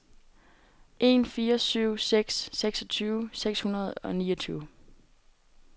en fire syv seks seksogtyve seks hundrede og niogtyve